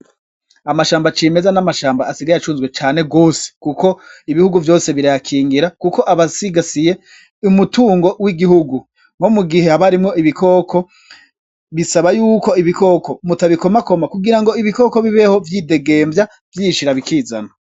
Amashamba acimeza n'amashamba asigaye acuzwe cane gose, kuko ibihugu vyose birayakingira, kuko aba asigasiye umutungo w'igihugu, nko mugihe haba harimwo ibikoko, bisaba yuko ibikoko mutabikomakoma kugirango ibikoko bibeho vyidegemvya vyishira bikizana.